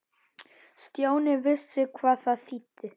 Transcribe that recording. Stjáni vissi hvað það þýddi.